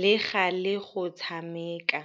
le galê go tshameka.